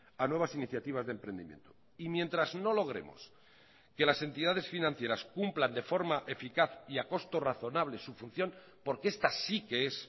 a nuevas iniciativas de emprendimiento mientras no logremos que las entidades financieras cumplan de forma eficaz y a costo razonable su función porque esta sí que es